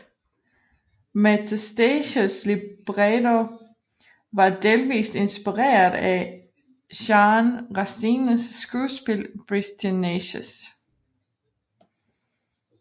Metastasios libretto var delvist inspireret af Jean Racines skuespil Britannicus